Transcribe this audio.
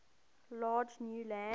large new land